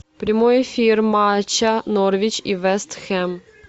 прямой эфир матча норвич и вест хэм